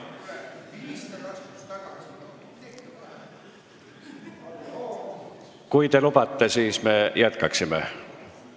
Kui te lubate, siis me jätkaksime.